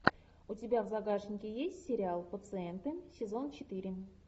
у тебя в загашнике есть сериал пациенты сезон четыре